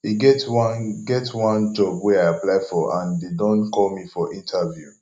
e get one get one job wey i apply for and dey don call me for interview